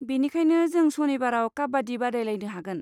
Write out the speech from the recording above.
बेनिखायनो, जों सनिबाराव काबाड्डि बादायलायनो हागोन।